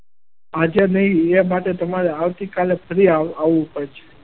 આજે નહિ એ માટે તમારે આવતીકાલે ફરી આવવું પડશે.